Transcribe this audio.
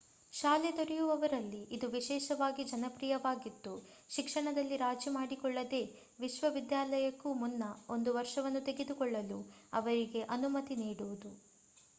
ಶಾಲೆ ತೊರೆಯುವವರಲ್ಲಿ ಇದು ವಿಶೇಷವಾಗಿ ಜನಪ್ರಿಯವಾಗಿದ್ದು ಶಿಕ್ಷಣದಲ್ಲಿ ರಾಜಿ ಮಾಡಿಕೊಳ್ಳದೇ ವಿಶ್ವವಿದ್ಯಾಲಯಕ್ಕೂ ಮುನ್ನ ಒಂದು ವರ್ಷವನ್ನು ತೆಗೆದುಕೊಳ್ಳಲು ಅವರಿಗೆ ಅನುಮತಿ ನೀಡುವುದು